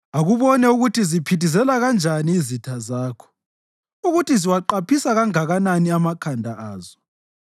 Akubone ukuthi ziphithizela kanjani izitha zakho, ukuthi ziwaqaphisa kanganani amakhanda azo.